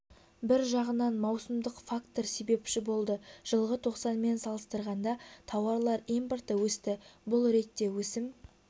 бір жағынан маусымдық фактор себепші болды жылғы тоқсанмен салыстырғанда тауарлар импорты өсті бұл ретте өсім